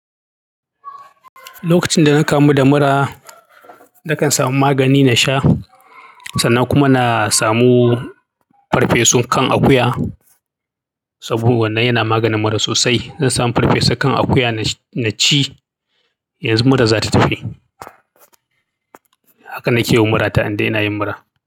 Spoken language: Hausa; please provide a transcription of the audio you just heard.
Lokacin da na kamu da mura, na kan samu magani na sha sannan kuma na samu farfesun kan akuya saboda wannan yana maganin mura sosai. Zan samu farfesu kan akuya na ci yanzu mura za ta tafi. Haka na ke wa mura ta inda ina yin mura.